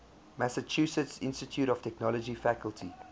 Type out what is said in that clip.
massachusetts institute of technology faculty